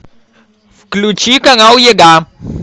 включи канал еда